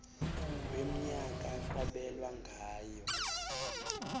wemnyaka kwabelwa ngayo